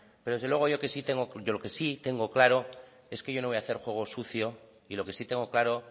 pero desde luego yo que si tengo de lo que sí tengo claro es que yo no voy a hacer juego sucio y lo que sí tengo claro